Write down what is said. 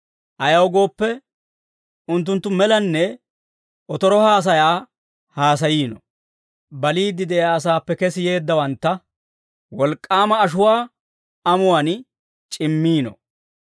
Ayaw gooppe, unttunttu melanne otoro haasayaa haasayiino; baliidde de'iyaa asaappe kesi yeeddawantta wolk'k'aama ashuwaa amuwaan c'immiino.